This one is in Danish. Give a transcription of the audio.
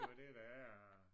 Det jo det der er